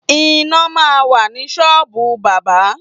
Iná máa ń wà ní ṣọ́ọ̀bù bábà.